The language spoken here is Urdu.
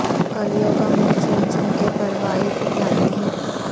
کلیوں کا منہ چوم چوم کے پروائی اٹھلاتی ہے